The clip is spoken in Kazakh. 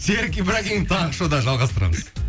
серік ибрагимов таңғы шоуда жалғастырамыз